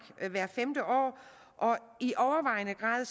hvert femte år og i overvejende grad